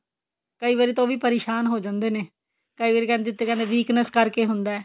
ਕਈ ਵਾਰੀ ਉਹ ਵੀ ਪਰੇਸ਼ਾਨ ਹੋ ਜਾਂਦੇ ਨੇ ਕਈ ਵਾਰੀ ਕਹਿੰਦੇ weakness ਕਰਕੇ ਹੁੰਦਾ